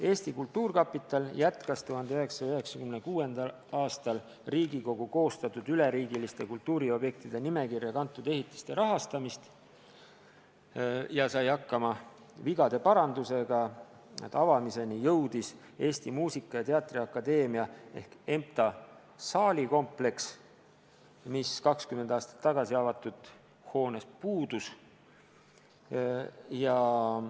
Eesti Kultuurkapital jätkas 1996. aastal Riigikogu koostatud üleriigiliste kultuuriobjektide nimekirja kantud ehitiste rahastamist ja sai hakkama ka vigade parandusega: avamiseni jõudis Eesti Muusika- ja Teatriakadeemia ehk EMTA saalikompleks, mis 20 aastat tagasi avatud hoonest puudus.